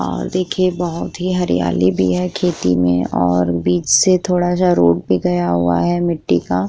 और देखिए बहुत ही हरियाली भी है खेती में और बीच से थोड़ा जा रोड भी गया है मिट्टी का--